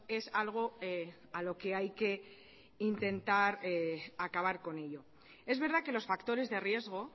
es algo a lo que hay que intentar acabar con ello es verdad que los factores de riesgo